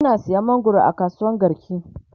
Ina sayan mangwaro a kasuwan garki